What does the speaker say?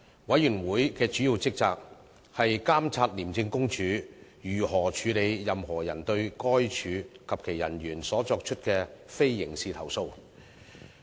委員會的主要職責，是監察廉政公署如何處理任何人對該署及其人員所作出的非刑事投訴。